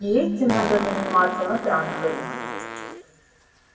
и этим надо заниматься на транторе